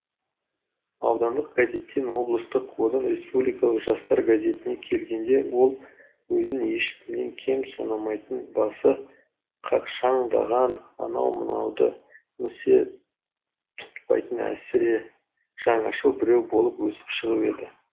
аудандық газеттен облыстық одан республикалық жастар газетіне келгенде ол өзін ешкімнен кем санамайтын басы қақшаңдаған анау мынауды місе тұтпайтын әсіре жаңашыл біреу болып өсіп шығып еді